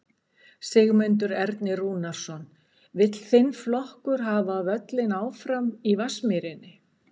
Sigmundur Ernir Rúnarsson: Vill þinn flokkur hafa völlinn áfram í Vatnsmýrinni?